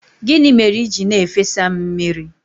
Gịnị mere i ji na-efesa m mmiri?